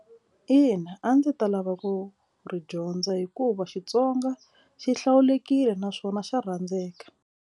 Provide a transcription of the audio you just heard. Ina, a ndzi ta lava ku ri dyondza hikuva Xitsonga xi hlawulekile naswona xa rhandzeka.